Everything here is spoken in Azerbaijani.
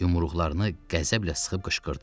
Yumruqlarını qəzəblə sıxıb qışqırdı.